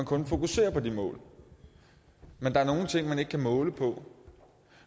kan fokusere på de mål men der er nogle ting man ikke kan måle på